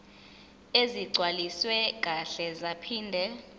ezigcwaliswe kahle zaphinde